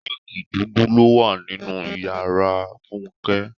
Rọ́ọ́gì dúdú ló wà nínú ìyára Fúnké.